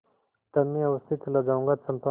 तब मैं अवश्य चला जाऊँगा चंपा